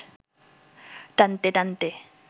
টানতে টানতে